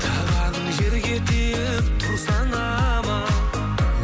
табаның жерге тиіп тұрсаң аман